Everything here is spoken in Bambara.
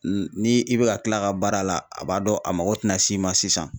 Ni i bɛ ka kila ka baara la a b'a dɔn a mago tina s'i ma sisan.